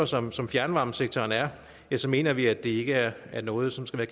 som som fjernvarmesektoren er ja så mener vi at det ikke er noget som skal